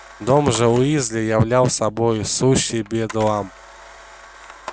дом же уизли являл собой сущий бедлам